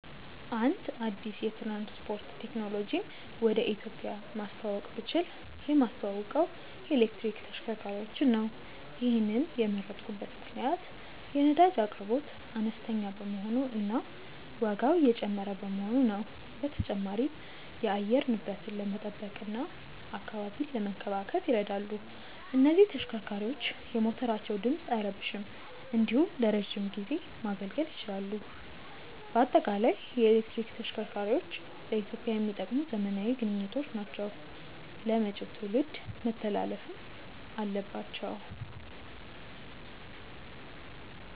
አንድ አዲስ የትራንስፖርት ቴክኖሎጂን ወደ ኢትዮጵያ ማስተዋወቅ ብችል የማስተዋውቀው የኤሌክትሪክ ተሽከርካሪዎችን ነው። ይሔንን የመረጥኩበት ምክንያት የነዳጅ አቅርቦት አነስተኛ በመሆኑ እና ዋጋው እየጨመረ በመሆኑ ነው። በተጨማሪም የአየር ንብረትን ለመጠበቅ እና አካባቢን ለመንከባከብ ይረዳሉ። እነዚህ ተሽከርካሪዎች የሞተራቸው ድምፅ አይረብሽም እንዲሁም ለረዥም ጊዜ ማገልገል ይችላሉ። በአጠቃላይ የኤሌክትሪክ ተሽከርካሪዎች ለኢትዮጵያ የሚጠቅሙ ዘመናዊ ግኝቶች ናቸው ለመጪው ትውልድ መተላለፍም አለባቸው።